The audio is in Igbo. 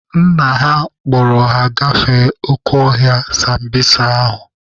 Nna ha kpọrọ ha gafee oke ọhịa sambisa ahụ.